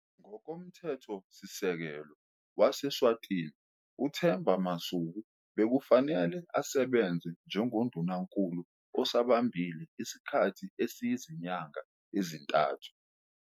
Ngokomthethosisekelo wase-Eswatini, uThemba Masuku bekufanele asebenze njengoNdunankulu osabambile isikhathi esiyizinyanga ezintathu.